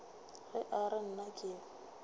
ge a re nna ke